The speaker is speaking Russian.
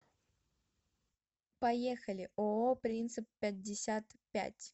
поехали ооо принцип пятьдесят пять